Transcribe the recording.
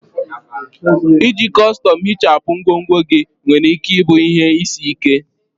Iji kọstọm ihichapụ ngwongwo gị nwere ike ịbụ ihe isi ike.